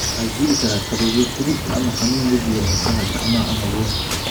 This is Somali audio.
Waxaa jiri kara kabuubyo, xiirid, ama xanuun wejiga, murqaha, gacmaha ama lugaha.